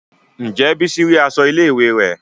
Ǹjẹ́ bísí rí aṣọ ilé ìwé rẹ̀?